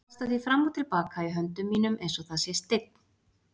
Kasta því fram og til baka í höndum mínum einsog það sé steinn.